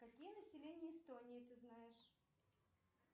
какие населения эстонии ты знаешь